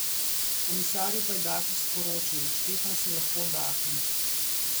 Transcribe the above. Komisarju pa je Dačić sporočil: 'Štefan si lahko oddahne.